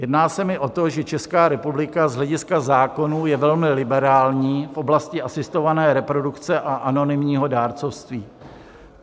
Jedná se mi o to, že Česká republika z hlediska zákonů je velmi liberální v oblasti asistované reprodukce a anonymního dárcovství.